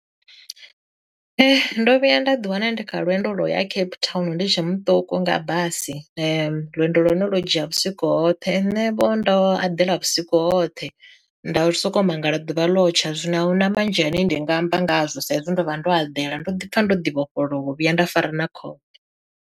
Ndo vhuya nda ḓi wana ndi kha lwendo lwo ya Cape Town ndi tshe muṱuku nga basi lwendo lwa hone lwo dzhia vhusiku hoṱhe, nṋe vho ndo aḓela vhusiku hoṱhe ndo soko mangala ḓuvha ḽotsha zwino a huna manzhi ane ndi nga amba ngazwo sa izwi ndo vha ndo eḓela ndo ḓi pfha ndo ḓi vhofholowa u vhuya nda fara na khofhe.